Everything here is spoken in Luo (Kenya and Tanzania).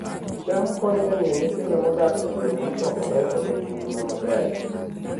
cham konyo e miyo nyithindo modak e gwenge mosokore obed gi ngima maber